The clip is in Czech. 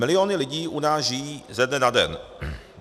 Miliony lidí u nás žijí ze dne na den.